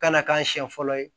Kana k'a siɲɛ fɔlɔ ye